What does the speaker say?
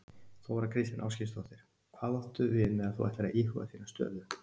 Þóra Kristín Ásgeirsdóttir: Hvað áttu við með að þú ætlir að íhuga þína stöðu?